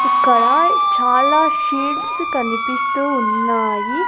ఇక్కడ చాలా షీడ్స్ కనిపిస్తూ ఉన్నాయి.